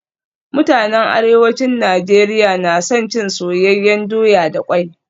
Mutanen Arewacin Najeriya na son cin soyayyen doya da kwai